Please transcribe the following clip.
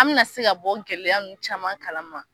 An bɛna se ka bɔ gɛlɛya ninnu caman kala ma.